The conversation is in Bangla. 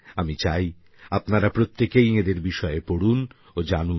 আমি চাই আপনারা প্রত্যেকেই এঁদের বিষয়ে পড়ুন ও জানুন